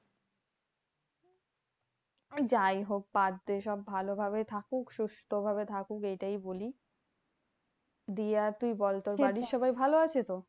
যাইহোক বাদ দে সব ভালোভাবেই থাকুক সুস্থ ভাবে থাকুক এইটাই বলি। দিয়ে আর তুই বল তোর বাড়ির সবাই ভালো আছে তো?